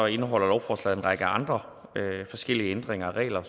indeholder lovforslaget en række andre forskellige ændringer af regler